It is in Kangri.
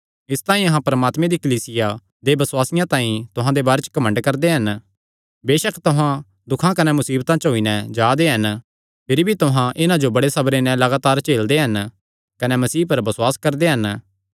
इसतांई अहां परमात्मे दी कलीसिया दे बसुआसी तुहां दे बारे च घमंड करदे हन बेसक तुहां दुखां कने मुसीबतां च होई नैं जा दे हन भिरी भी तुहां इन्हां जो बड़े सबरे नैं लगातार झेलदे हन कने मसीह पर बसुआस करदे हन